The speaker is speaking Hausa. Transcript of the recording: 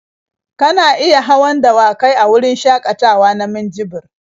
Kana iya hawan dawakai a wurin shakatawa na minjibir.